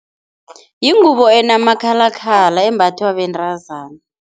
Yingubo enamakhalakhala, embathwa bentazana.